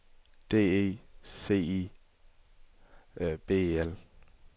D E C I B E L